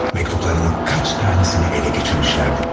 Məktubların neçə tanəsini ələ keçirmişdilərdi?